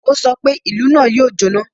Ó sọ pé, "Ìlú náà yóò jọ́ná!"